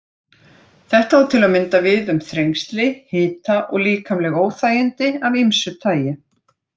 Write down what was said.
Þetta á til að mynda við um þrengsli, hita og líkamleg óþægindi af ýmsu tagi.